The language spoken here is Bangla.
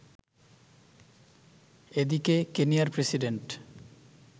এদিকে, কেনিয়ার প্রেসিডেন্ট